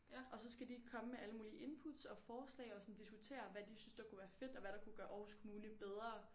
Og så skal de komme med alle mulige inputs og forslag og sådan diskutere hvad de synes der kunne være fedt og hvad der kunne gøre Aarhus kommune bedre